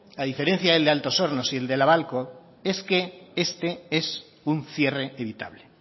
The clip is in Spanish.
a diferencia del de altos hornos y el de la babcock es que este es un cierre evitable